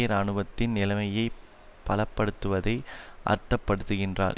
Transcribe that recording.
இராணுவத்தின் நிலைமையை பலப்படுத்துவதை அர்த்தப்படுத்துகின்றார்